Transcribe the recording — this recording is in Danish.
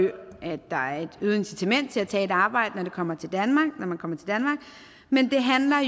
der er et øget incitament til at tage et arbejde når man kommer til danmark men det handler